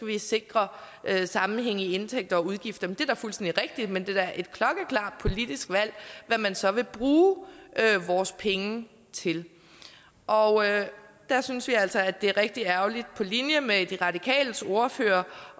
vi sikre sammenhæng i indtægter og udgifter det er fuldstændig rigtigt men det er da et klokkeklart politisk valg hvad man så vil bruge vores penge til og der synes vi altså det er rigtig ærgerligt på linje med de radikales ordfører